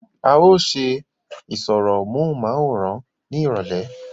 à ó ṣe ìsọ̀rọ̀ móhùnmáwòrán ní ìrọ̀lẹ̀